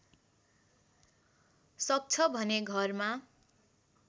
सक्छ भने घरमा